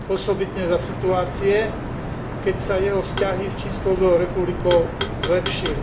Osobitne za situácie, keď sa jeho vzťahy s Čínskou ľudovou republikou zlepšili.